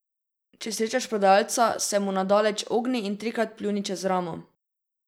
Če srečaš prodajalca, se mu na daleč ogni in trikrat pljuni čez ramo.